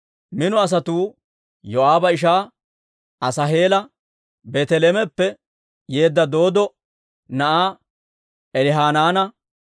Mino asatuu Yoo'aaba ishaa Asaaheela, Beeteleheemeppe yeedda Dooddo na'aa Elihanaana,